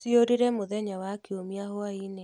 Ciorire mũthenya wa kiũmia hwai-inĩ